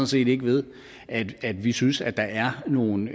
set ikke ved at at vi synes at der er nogle